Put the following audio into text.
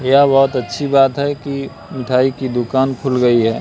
यह बहुत अच्छी बात है कि मिठाई की दुकान खुल गई है।